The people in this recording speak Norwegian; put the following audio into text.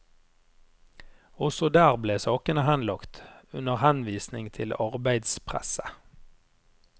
Også der ble sakene henlagt, under henvisning til arbeidspresset.